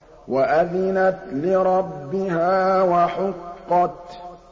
وَأَذِنَتْ لِرَبِّهَا وَحُقَّتْ